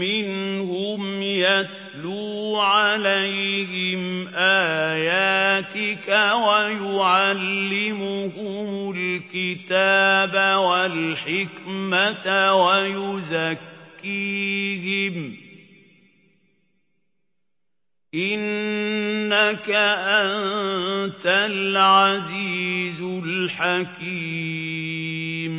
مِّنْهُمْ يَتْلُو عَلَيْهِمْ آيَاتِكَ وَيُعَلِّمُهُمُ الْكِتَابَ وَالْحِكْمَةَ وَيُزَكِّيهِمْ ۚ إِنَّكَ أَنتَ الْعَزِيزُ الْحَكِيمُ